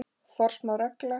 Forsmáð regla.